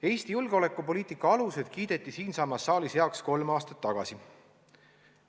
Eesti julgeolekupoliitika alused kiideti siinsamas saalis tagasi heaks kolm aastat tagasi.